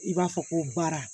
I b'a fɔ ko baara